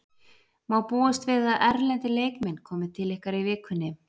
Má búast við að erlendir leikmenn komi til ykkar í vikunni?